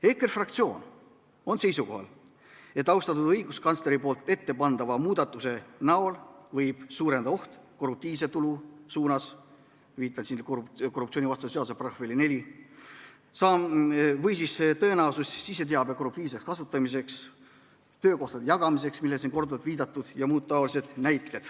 EKRE fraktsioon on seisukohal, et austatud õiguskantsleri ettepandava muudatusega võib suureneda korruptiivse tulu oht või tõenäosus siseteabe korruptiivseks kasutamiseks, töökohtade jagamiseks, millele on siin korduvalt viidatud, jms.